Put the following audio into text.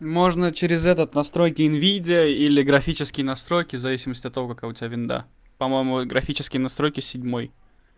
можно через этот настройки энвидиа или графические настройки в зависимости от того какая у тебя винда по-моему графические настройки седьмой